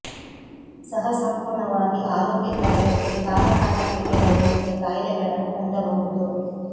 ಸಹ ಸಂಪೂರ್ಣವಾಗಿ ಆರೋಗ್ಯಕರ ವ್ಯಕ್ತಿ ಕಾಲಕಾಲಕ್ಕೆ ಕೆಲವು ರೀತಿಯ ಕಾಯಿಲೆಗಳನ್ನು ಹೊಂದಬಹುದು